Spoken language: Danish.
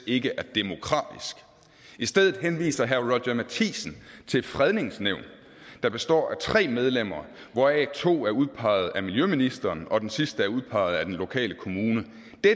ikke er demokratisk i stedet henviser herre roger courage matthisen til et fredningsnævn der består af tre medlemmer hvoraf to er udpeget af miljøministeren og den sidste er udpeget af den lokale kommune